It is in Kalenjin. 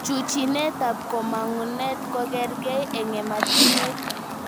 Chuchinetab komangunet kokerkee eng ematinwek